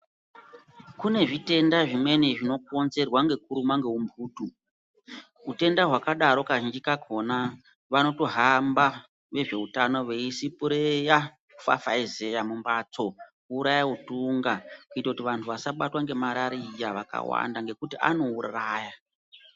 Kune zvitenda Zvimweni zvinokonzerwa ngekurumwa ngeumphutu. Utenda hwakadaro kazhinji kakhona, vanotohamba vezveutano veisipureya, kufafaizeya mumphatso, kuuraya utunga ,kuite kuti vantu vasabatwa ngemarariya vakawanda, ngekuti anouraya.